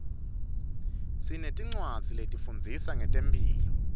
sinetincwadzi letifundzisa ngetemphilo